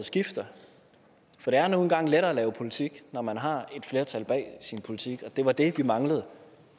skifter for det er nu engang lettere at lave politik når man har et flertal bag sin politik det var det vi manglede